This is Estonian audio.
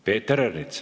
Peeter Ernits.